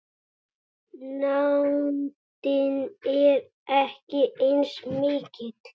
Nándin er ekki eins mikil.